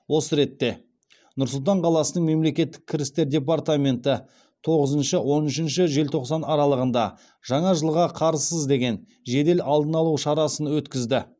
осы ретте нұр сұлтан қаласының мемлекеттік кірістер департаменті тоғызыншы он үшінші желтоқсан аралығында жаңа жылға қарызсыз деген жедел алдын алу шарасын өткізді